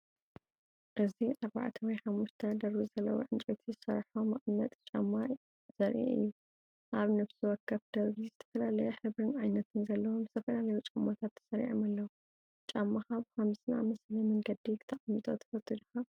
እዚ ኣርባዕተ ወይ ሓሙሽተ ደርቢ ዘለዎ ዕንጨይቲ ዝሰርሖ መቐመጢ ጫማ ዘርኢ እዩ። ኣብ ነፍሲ ወከፍ ደርቢ ዝተፈላለየ ሕብርን ዓይነትን ዘለዎም ዝተፈላለዩ ጫማታት ተሰሪዖም ኣለዉ። ጫማኻ ብኸምዚ ዝኣመሰለ መንገዲ ክተቅምጦ ትፈቱ ዲኻ?